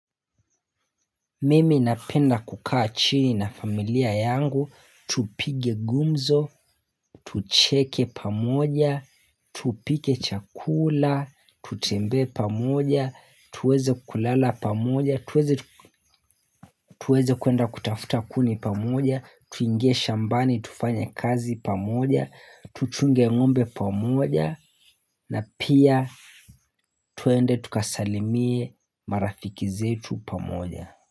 Mimi napenda kukaa chini na familia yangu. Tupige ngumzo. Tucheke pamoja. Tupike chakula. Tutembe pamoja. Tuweze kulala pamoja. Tuweze kuenda kutafuta kuni pamoja. Tuingesha shambani. Tufanya kazi pamoja. Tuchunge ngombe pamoja. Na pia tuwende tukasalimie marafiki zetu pamoja.